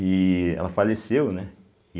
E ela faleceu, né?